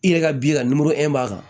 I yɛrɛ ka bi ka nimoro min b'a kan